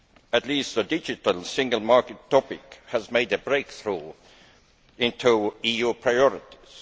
At least the digital single market topic has made a breakthrough into EU priorities.